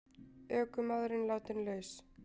Ökumaðurinn látinn laus